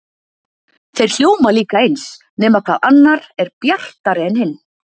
Þeir hljóma líka eins, nema hvað annar er bjartari en hinn.